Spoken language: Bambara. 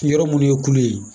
Yɔrɔ minnu ye kule ye